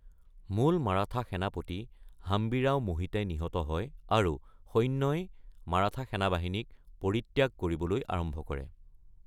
মূল মাৰাঠা সেনাপতি হাম্বিৰাও মোহিতে নিহত হয় আৰু সৈন্যই মাৰাঠা সেনাবাহিনীক পৰিত্যাগ কৰিবলৈ আৰম্ভ কৰে।